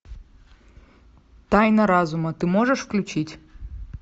тайна разума ты можешь включить